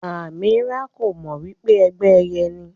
Amirah ko mọ wípé ẹgbẹ ẹyẹ ni.